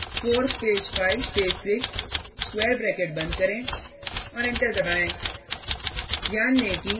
4 space 5 space 6 square bracket बंद करें और एंटर दबाएँ